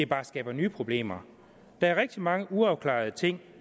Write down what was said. bare skaber nye problemer der er rigtig mange uafklarede ting